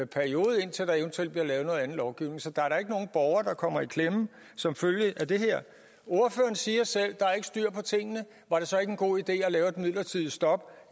periode indtil der eventuelt bliver lavet noget andet lovgivning så der er da ikke nogen borgere der kommer i klemme som følge af det her ordføreren siger selv at der ikke er styr på tingene var det så ikke en god idé at lave et midlertidigt stop